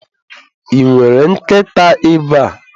Ị nwere nkịta ebe?